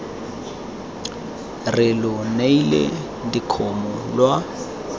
re lo neile dikgomo lwa